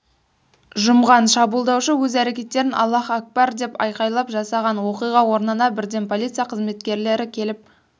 жұмған шабуылдаушы өз әрекеттерін аллах акбар деп айқайлап жасаған оқиға орнына бірден полиция қызметкелері келіп